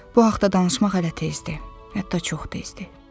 Bu haqda danışmaq hələ tezdir, hətta çox tezdir.